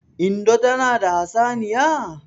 Indo tana da hatsaniya?